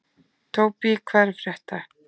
Tóbý, hvað er að frétta?